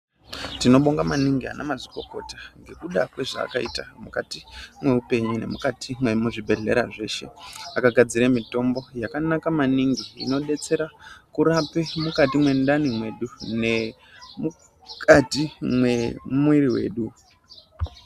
Tinobonga maningi anamazvikokota ngekuda kwezvaakaita mukati mweupenyu nemukati mwezvibhedhlera zveshe. Akagadzire mitombo yakanaka maningi, inodetsera, kurape mukati mwendani mwedu, nemukati mwemwiri wedu.